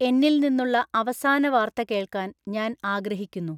എന്നിൽ നിന്നുള്ള അവസാന വാർത്ത കേൾക്കാൻ ഞാൻ ആഗ്രഹിക്കുന്നു